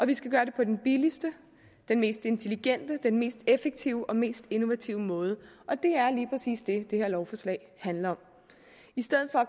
vi skal gøre det på den billigste den mest intelligente den mest effektive og mest innovative måde og det er lige præcis det det her lovforslag handler om i stedet for at